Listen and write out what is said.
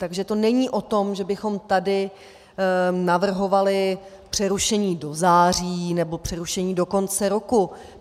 Takže to není o tom, že bychom tady navrhovali přerušení do září nebo přerušení do konce roku.